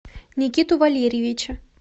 никиту валерьевича